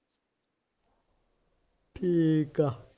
ਠੀਕ ਆ